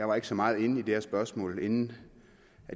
var så meget inde i det her spørgsmål inden